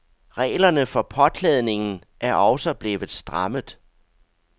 Reglerne for påklædningen er også blevet strammet.